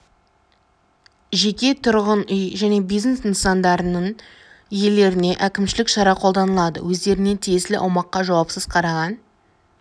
жеке тұрғын үй және бизнес нысандарының иелеріне әкімшілік шара қолданылады өздеріне тиесілі аумаққа жауапсыз қараған